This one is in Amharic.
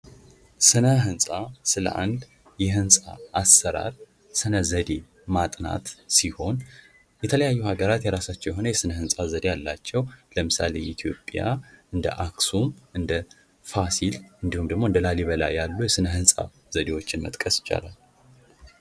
ሥነ ሕንፃ ስለ አንድ የህንጻ አሰራር ሰነ ዘዴ ማጥናት ሲሆን ፤ የተለያዩ ሀገራት የራሳቸው የሆነ የሥነ ሕንፃ ዘዴ አላቸው። ለምሳሌ ኢትዮጵያ እንደ አክሱም ፣ እንደ ፋሲል እንዲሁም ደግሞ እንደ ላሊበላ ያሉ የሥነ ሕንፃ ዘዴዎችን መጥቀስ ይቻላል።